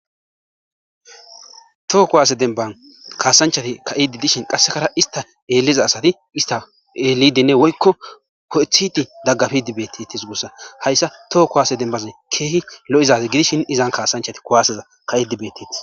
Too ko waase demban kaasanchati ka7idi dishin qassekara ista eeliza asati ista eelidine woykko ho7ethiti daggafidibeettiti sugussa hayssa too ko waase dembaze keehi lo7izaze gidishin izan kaasanchati kuwaseza ka7idibeteti.